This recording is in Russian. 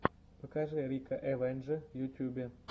покажи рика эвендже в ютюбе